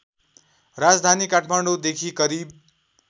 राजधानी काठमाडौँदेखि करिब